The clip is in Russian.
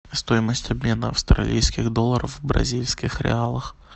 стоимость обмена австралийских долларов в бразильских реалах